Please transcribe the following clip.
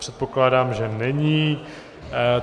Předpokládám, že není.